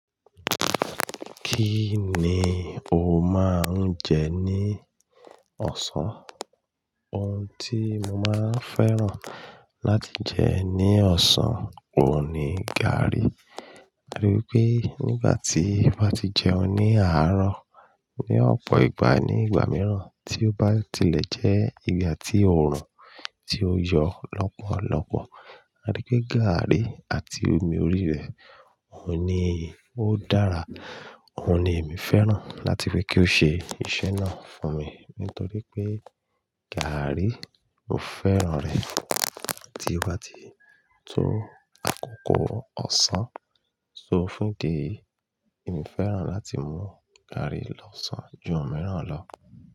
Kí ni o máa ń jẹ ní ọ̀sán? Ohun tí mo máa ń fẹ́ràn láti jẹ ní ọ̀sán, òun ni gàrí. Nítorí pé nígbà tí mo bá ti jẹun ní àárọ̀, ní ọ̀pọ̀ ìgbà, ní ìgbà mìíràn tí ó bá tilẹ̀ jẹ́ ìgbà tí òórùn ti yọ lọ́pọ̀lọpọ̀, a rí pé gàrí àti omi orí rẹ̀, òun ni ó dára. Òun ni èmi fẹ́ràn láti pé kí ó ṣe iṣẹ́ náà fún mi. Nítorí pé gàrí, mo fẹ́ràn rẹ̀. Àti ìgbà tí tó àkókò ọ̀sán sófún idi yìí, èmi fẹ́ràn láti mú gàrí lọ́sàn-án ju òmíràn lọ.